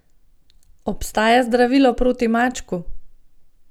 Obstaja zdravilo proti mačku?